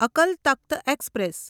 Akal Takht express